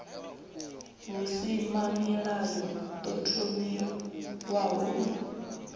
v husimamilayo ḓo thomiwaho u